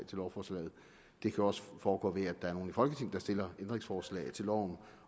til lovforslaget det kan også foregå ved at nogle i folketinget stiller ændringsforslag til loven